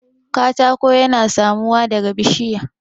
katako yana samuwa daga bishiya